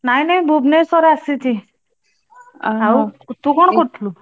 ନାଇଁ ନାଇଁ ଭୁବନେଶ୍ବର ଆସିଛି। ଆଉ ତୁ କଣ କରୁଥିଲୁ?